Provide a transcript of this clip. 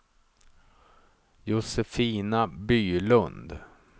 Josefina Bylund